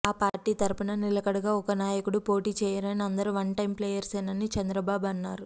ఆ పార్టీ తరపున నిలకడగా ఒక్క నాయకుడు పోటీ చేయరని అందరూ వన్ టైమ్ ప్లేయర్సేనని చంద్రబాబు అన్నారు